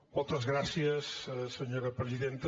moltes gràcies senyora presidenta